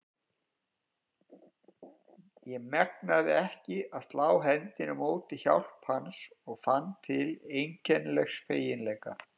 Ég megnaði ekki að slá hendinni á móti hjálp hans og fann til einkennilegs feginleika.